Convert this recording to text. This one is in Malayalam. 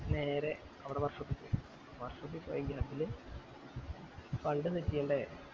നേരെ അവിടെ work shape ചെന്ന work shopegap ല് fund set ചെയ്യണ്ടേ